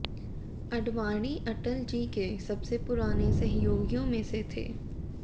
आडवाणी अटल जी के सबसे पुराने सहयोगियों में से थे